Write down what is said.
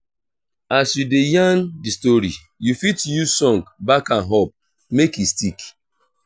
as you de yarn di story you fit use song back am up make e stick